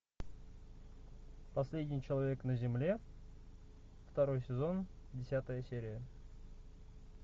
последний человек на земле второй сезон десятая серия